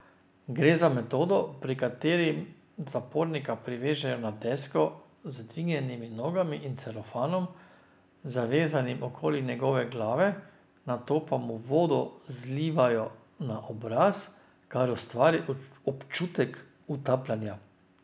Gre za metodo, pri kateri zapornika privežejo na desko z dvignjenimi nogami in celofanom, zavezanim okoli njegove glave, nato pa mu vodo zlivajo na obraz, kar ustvari občutek utapljanja.